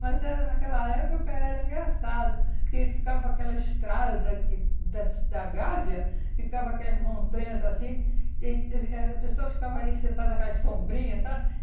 Mas era naquela época porque era engraçado, porque ficava aquela estrada que da antes da Gávea, ficava aquelas montanhas assim e a pessoa ficava ali sentada com as sombrinhas, sabe?